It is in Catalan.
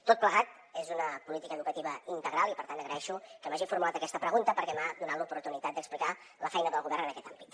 tot plegat és una política educativa integral i per tant agraeixo que m’hagi formulat aquesta pregunta perquè m’ha donat l’oportunitat d’explicar la feina del govern en aquest àmbit